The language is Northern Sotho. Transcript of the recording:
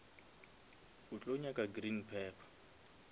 o tlo nyaka green pepper